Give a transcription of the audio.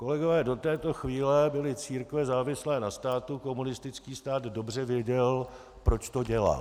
Kolegové, do této chvíle byly církve závislé na státu, komunistický stát dobře věděl, proč to dělal.